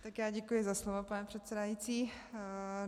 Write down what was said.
Tak já děkuji za slovo, pane předsedající.